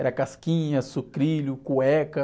Era casquinha, sucrilho, cueca.